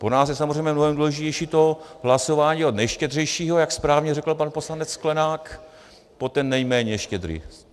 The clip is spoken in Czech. Pro nás je samozřejmě mnohem důležitější to hlasování od nejštědřejšího, jak správně řekl pan poslanec Sklenák, po ten nejméně štědrý.